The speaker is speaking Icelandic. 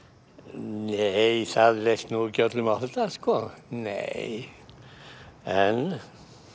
nei það leist nú ekki öllum á þetta nei en